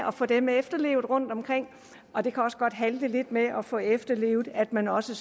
at få dem efterlevet rundtomkring og det kan også godt halte lidt med at få efterlevet at man også